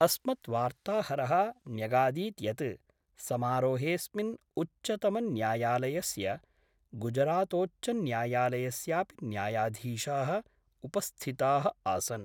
अस्मत् वार्ताहर: न्यगादीत् यत् समारोहेस्मिन् उच्च्तमन्यायालयस्य, गुजरातोच्चन्यायालयस्यापि न्यायाधीशा: उपस्थिता: आसन्।